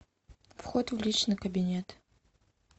вход в личный кабинет